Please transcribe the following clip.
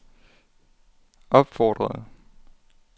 opfordrede